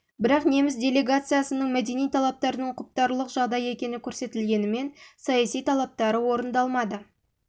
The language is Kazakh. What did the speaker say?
бірақ неміс делегациясының мәдени талаптарының құптарлық жағдай екені көрсетілгенімен саяси талаптары орындалмады